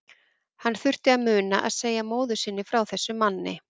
Hann þurfti að muna að segja móður sinni frá þessum manni.